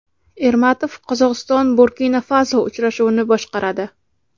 Ermatov Qozog‘iston Burkina-Faso uchrashuvini boshqaradi.